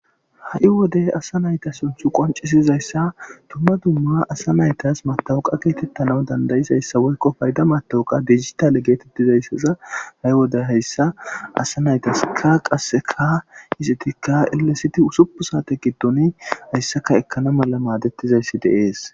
ha7i wodey asa nayta sunthu qoncisizayssa tumma dumma asa naytas matawuqa geetettana dandayizayssa woykko payda matawuqa digitale getettizayssaza haywoda hayssa asa naytaskka qasseka hisetikka illesiti usupu saate giddoni hayssaka ekkana mala maadettizayssi deees